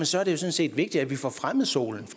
sådan set vigtigt at vi får fremmet solen